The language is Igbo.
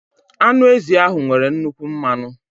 Anụ ezi ahụ nwere nnukwu mmanụ.